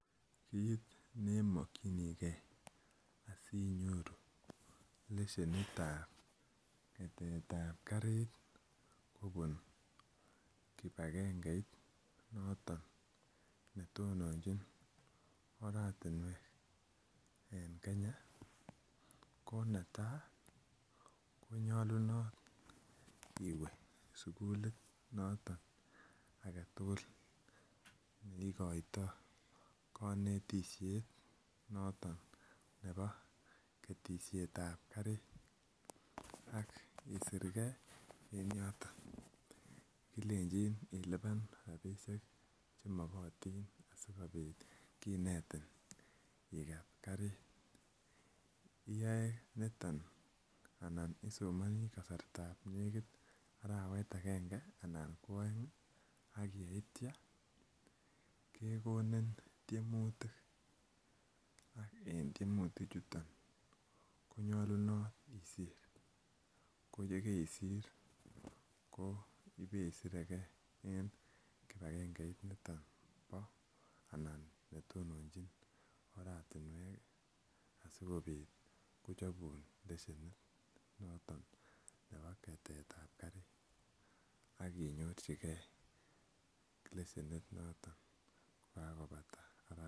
Kit ne mokyinigei asi inyoru lesienit ab ketet ab karit kobun kibagengeit noton ne tononjin oratinwek en Kenya ko netai ko nyolunot iwe sukulit noton age tugul ne igoitoi konetisiet noton nebo ketisiet ab karit ak isirge en yoton kilenjin ilipan rabisiek Che makotin asikobit kinetin iket karit iyoe niton anan isomoni kasartab nekit arawet agenge anan ko aeng ak yeityo kegonin tiemutik en tiemutik chuton ko nyolunot isir ko ye kaisir ibe sire ge en kibagengeit niton bo anan niton ne tononjin oratinwek asikobit kochapun lesienit noton nebo ketetab karit ak nyorchigei lesienit noton kokabata arawek